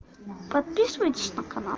подписывайтесь на канал